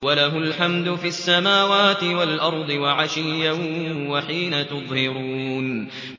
وَلَهُ الْحَمْدُ فِي السَّمَاوَاتِ وَالْأَرْضِ وَعَشِيًّا وَحِينَ تُظْهِرُونَ